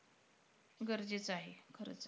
गरजेचं आहे खरंच.